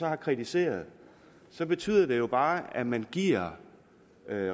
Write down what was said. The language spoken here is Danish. har kritiseret det så betyder det jo bare at man giver